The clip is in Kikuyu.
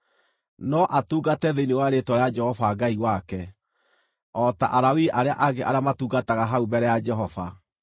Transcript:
no atungate thĩinĩ wa rĩĩtwa rĩa Jehova Ngai wake, o ta Alawii arĩa angĩ arĩa matungataga hau mbere ya Jehova.